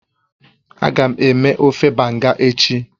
Agam eme ofe Banga echi